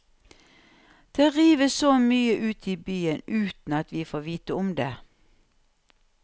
Det rives så mye ute i byen uten at vi får vite om det.